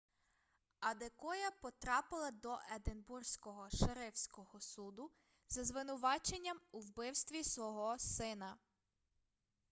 адекоя потрапила до единбурзького шерифського суду за звинуваченням у вбивстві свого сина